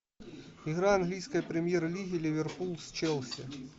игра английской премьер лиги ливерпуль с челси